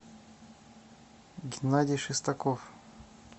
геннадий шестаков